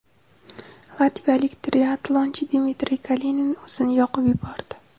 Latviyalik triatlonchi Dmitriy Kalinin o‘zini yoqib yubordi.